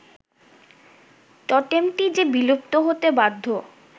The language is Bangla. টোটেমটি যে বিলুপ্ত হতে বাধ্য